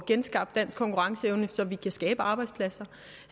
genskabt dansk konkurrenceevne så vi kan skabe arbejdspladser